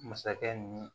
Masakɛ ni